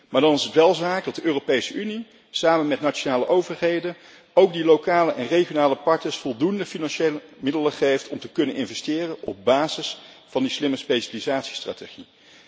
Maar dan is het wel zaak dat de Europese Unie samen met nationale overheden ook die lokale en regionale partners voldoende financiële middelen geeft om te kunnen investeren op basis van die slimme specialisatiestrategie.